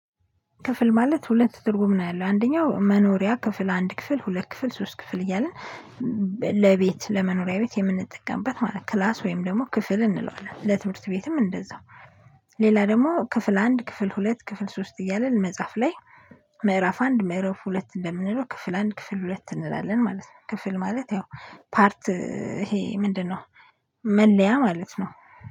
ክፍል ማለት ሁለት ትርጉም ነው ያለው አንደኛው መኖሪያ ክፍል አንድ ክፍል ሁለት ክፍል ሶስት ክፍል እያልን። ለቤት ለመኖሪያ ቤት የምንጠቀምበት ማለት ክላስ ወይም ደግሞ ክፍል እንለዋለን ለትምህርት ቤትም እንደዛው። ሌላ ደግሞ ክፍል አንድ ክፍል ሁለት ክፍል ሶስት እያልን መጽሐፍ ላይ። ምዕራፍ አንድ ምዕራፍ ሁለት እንደምንለው ክፍል አንድ ክፍል ሁለት እንላለን ማለት ነው። ክፍል ማለት ያው ፓርት ይሄ ምንድነው? መለያ ማለት ነው